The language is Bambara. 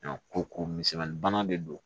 ko ko misɛnmani bana de don